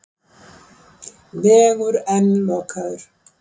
Vegur enn lokaður